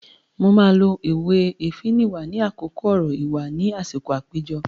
Mo máa lo òwe "Èéfín nìwà" ní àkókò ọ̀rọ̀ ìwà ni àsìkò àpéjọ.